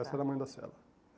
Essa era a mãe da cela.